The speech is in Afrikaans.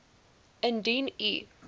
indien u